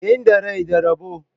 Inda rai da rabo.